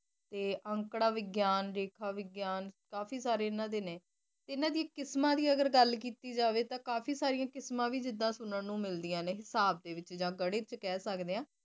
ਅੰਕੜਾ ਵਿਗਿਆਨ ਲੇਖ ਵਿਗਿਆਨ ਹੋਗਿਆ ਕਾਫੀ ਸਾਰੇ ਇਹਨਾਂ ਦੇ ਨੇ ਇਹਨਾਂ ਦੀ ਕਿਸਮਾਂ ਦੀ ਗੱਲ ਕੀਤੀ ਜਾਵੇ ਤਾ ਕਾਫੀ ਸਾਰੇ ਕਿਸਮਾਂ ਵੀ ਸੁਣਨ ਨੂੰ ਮਿਲਦੀਆਂ ਨੇ ਵੀ ਮਿਲਦੀਆਂ ਨੇ ਹਿਸਾਬ ਦੇ ਵਿਚ ਜਾ ਗਣਿਤ ਕਹਿ ਸਕਦੇ ਆ